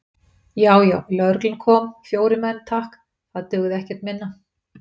Já, já, lögreglan kom, fjórir menn, takk, það dugði ekkert minna!